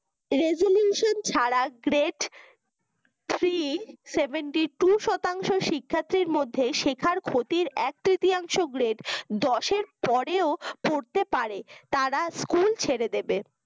resolution ছাড়া great three seventy two শতাংশ শিক্ষার্থীর মধ্যে শিক্ষার ক্ষতির এক-তৃতীয়াংশ great দশের পরেও পড়তে পারে তারা school ছেড়ে দিবে।